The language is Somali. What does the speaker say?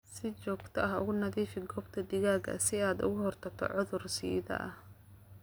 Si joogto ah u nadiifi goobta digaaga si aad uga hortagto cudur-sidaha.